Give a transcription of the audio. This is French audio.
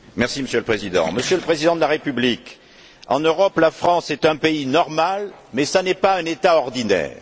Monsieur le Président, Monsieur le Président de la République, en Europe, la France est un pays normal, mais elle n'est pas un État ordinaire.